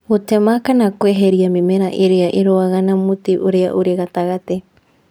Gũtema kana kweheria mĩmera ĩrĩa ĩrũaga na mũtĩ ũrĩa ũrĩ gatagatĩ.